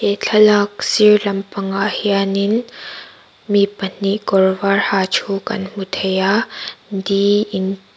he thlalak sir lam pangah hianin mi pahnih kawr var ha thu kan hmu thei a di in--